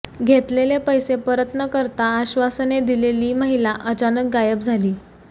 घेतलेले पैसे परत न करता आश्वासने दिलेली महिला अचानक गायब झाली